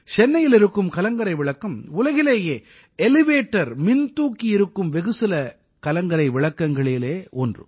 சென்னையில் இருக்கும் கலங்கரை விளக்கம் உலகிலேயே எலிவேட்டர் மின்தூக்கி இருக்கும் வெகுசில கலங்கரை விளக்கங்களில் ஒன்று